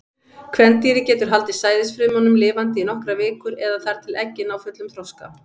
Kvendýrið getur haldið sæðisfrumunum lifandi í nokkrar vikur, eða þar til eggin ná fullum þroska.